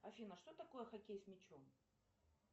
афина что такое хоккей с мячом